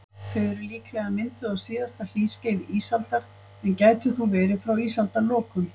Þau eru líklega mynduð á síðasta hlýskeiði ísaldar, en gætu þó verið frá ísaldarlokum.